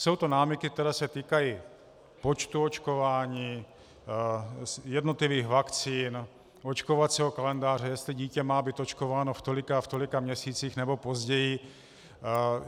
Jsou to námitky, které se týkají počtu očkování, jednotlivých vakcín, očkovacího kalendáře, jestli dítě má být očkováno v tolika a v tolika měsících, nebo později.